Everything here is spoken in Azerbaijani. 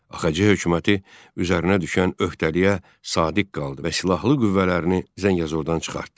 AXC hökuməti üzərinə düşən öhdəliyə sadiq qaldı və silahlı qüvvələrini Zəngəzurdan çıxartdı.